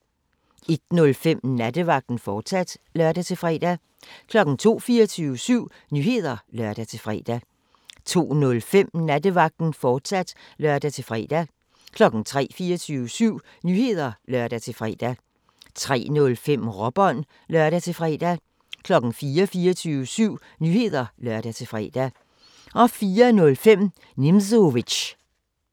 01:05: Nattevagten, fortsat (lør-fre) 02:00: 24syv Nyheder (lør-fre) 02:05: Nattevagten, fortsat (lør-fre) 03:00: 24syv Nyheder (lør-fre) 03:05: Råbånd (lør-fre) 04:00: 24syv Nyheder (lør-fre) 04:05: Nimzowitsch